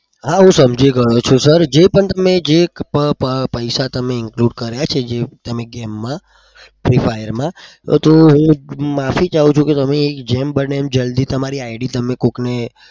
હા હું સમજી ગયો છું sir જે પણ તમે જે પૈસા તમે include કર્યા છે game માં free fire માં હું માફી ચાહું છુ કે તમે જેમ બને એમ જલ્દી તમારી id કોક ને